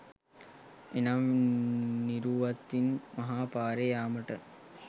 එනම් නිරුවතින් මහපාරේ යාමට